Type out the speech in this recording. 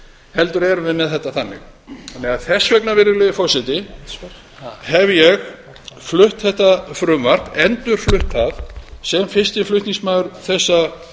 heldur erum við með þetta þannig þess vegna virðulegi forseti hef ég flutt þetta frumvarp endurflutt það sem fyrsti flutningsmaður þessa